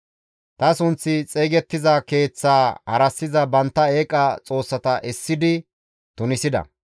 Ta sunththi xeygettiza Keeththaa harassiza bantta eeqa xoossata essidi tunisida.